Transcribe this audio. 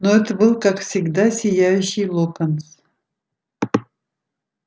но это был как всегда сияющий локонс